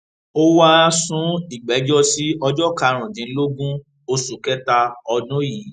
ó wáá sún ìgbẹjọ sí ọjọ karùndínlógún oṣù kẹta ọdún yìí